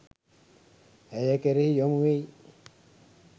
ඇය කෙරෙහි යොමු වෙයි